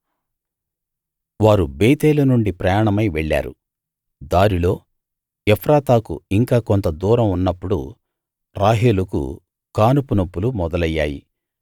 వారు బేతేలు నుండి ప్రయాణమై వెళ్ళారు దారిలో ఎఫ్రాతాకు ఇంకా కొంత దూరం ఉన్నప్పుడు రాహేలుకు కానుపు నొప్పులు మొదలయ్యాయి